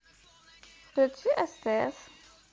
включи стс